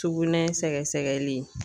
Sugunɛ sɛgɛsɛgɛli